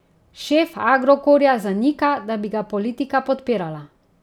Šef Agrokorja zanika, da bi ga politika podpirala.